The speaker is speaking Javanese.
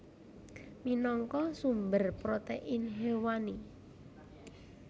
Minangka sumber protein hewani